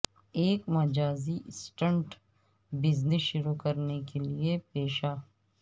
ایک مجازی assistant business شروع کرنے کے لئے پیشہ